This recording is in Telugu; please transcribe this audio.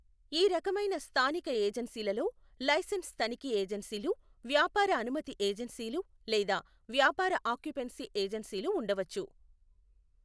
ఈ రకమైన స్థానిక ఏజెన్సీలలో లైసెన్స్ తనిఖీ ఏజెన్సీలు, వ్యాపార అనుమతి ఏజెన్సీలు లేదా వ్యాపార ఆక్యుపెన్సీ ఏజెన్సీలు ఉండవచ్చు.